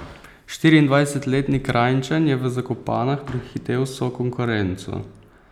Štiriindvajsetletni Kranjčan je v Zakopanah prehitel vso konkurenco.